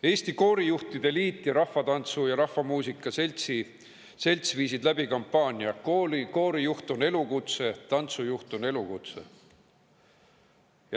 Eesti Koorijuhtide Liit ning Rahvatantsu ja Rahvamuusika Selts viisid läbi kampaania "Koorijuht on elukutse / Tantsujuht on elukutse".